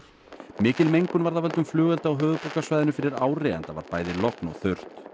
mikil mengun varð af völdum flugelda á höfuðborgarsvæðinu fyrir ári enda var bæði logn og þurrt